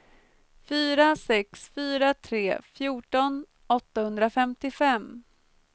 fyra sex fyra tre fjorton åttahundrafemtiofem